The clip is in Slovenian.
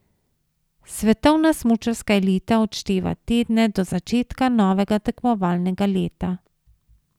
Svetovna smučarska elita odšteva tedne do začetka novega tekmovalnega leta.